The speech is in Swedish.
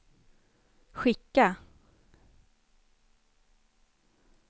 skicka